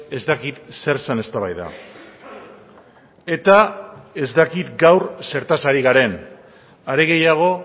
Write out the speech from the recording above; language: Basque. ez dakit zer zen eztabaida eta ez dakit gaur zertaz hari garen are gehiago